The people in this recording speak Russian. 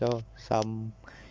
всё сам